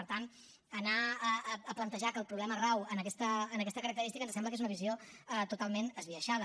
per tant anar a plantejar que el problema rau en aquesta característica ens sembla que és una visió totalment esbiaixada